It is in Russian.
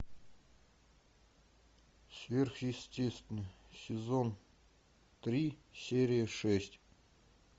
сверхъестественное сезон три серия шесть